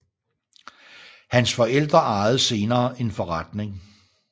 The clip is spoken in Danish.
Hans forældre ejede senere en forretning